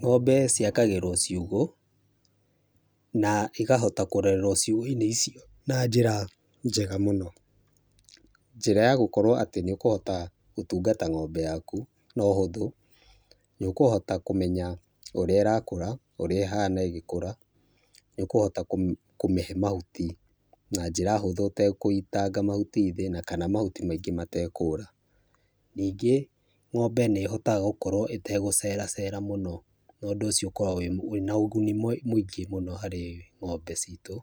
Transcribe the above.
Ng'ombe ciakagĩrwo ciugo na cikahota kũrerwo ciugo-inĩ icio na njĩra njega mũno, njĩra ya atĩ nĩ ũkohota gũkorwo ũgĩtungata ng'ombe yaku na ũhũthũ, nĩ ũkũhota kũmenya ũrĩa ĩrakũra, ũrĩa ĩhana ĩgĩkũra , nĩ ũkũhota kũmĩhe mahuti na njĩra hũthũ ũtegũitanga mahuti thĩ kana mahuti maingĩ matekũra, ningĩ ng'ombe nĩ hotaga gũkorwo ĩtegũceracera mũno na ũndũ ũcio ũkoragwo wĩna ũguni mũingĩ harĩ ng'ombe citũ,